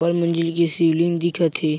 बड़ मंजिल के सीलिंग दिखत हे।